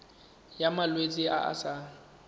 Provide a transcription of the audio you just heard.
ya malwetse a a sa